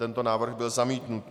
Tento návrh byl zamítnut.